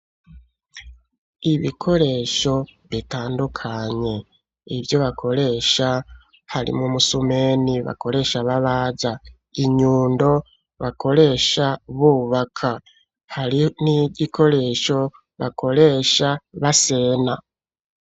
Ibikoresho bitandukanye, ivyo bakoresha, harimwo umusumeni, bakoresha babaza, inyundo, bakoresha bubaka, hari n'igikoresho, bakoresha basena.